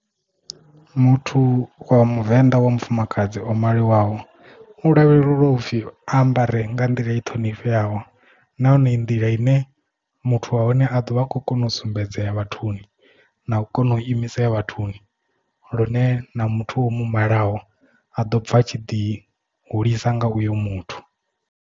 Muthu wa muvenḓa wa mufumakadzi o maliwaho u lavhelelwa upfi a ambare nga nḓila i ṱhonifheaho nahone i nḓila ine muthu wa hone a ḓovha a khou kona u sumbedzea vhathuni na u kona u imise ya vhathuni lune na muthu omu malaho a ḓo ovha atshi ḓi hulisa nga uyo muthu.